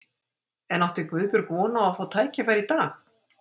En átti Guðbjörg von á að fá tækifæri í dag?